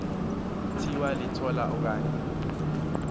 thiwa litola okanye